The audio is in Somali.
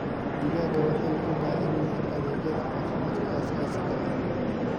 Digaagga waxay u baahan yihiin adeegyada caafimaadka aasaasiga ah.